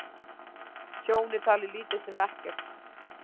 Tjón er talið lítið sem ekkert